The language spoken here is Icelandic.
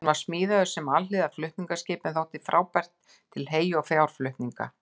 Hann var smíðaður sem alhliða flutningaskip en þótti frábær til hey- og fjárflutninga.